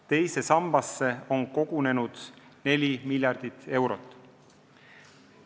Teise sambasse on kogunenud 4 miljardit eurot.